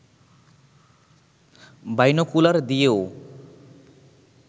binocular দিয়েও